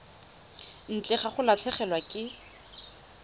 ntle ga go latlhegelwa ke